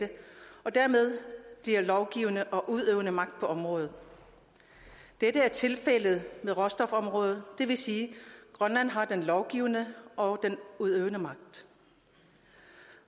og bliver dermed lovgivende og udøvende magt på området dette er tilfældet med råstofområdet det vil sige at grønland har den lovgivende og den udøvende magt